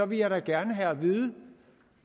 vil jeg da gerne have at vide